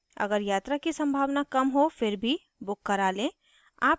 अगर यात्रा की सम्भावना कम हो फिर भी book करा लें